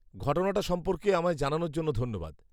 ঘটনাটা সম্পর্কে আমায় জানানোর জন্য ধন্যবাদ।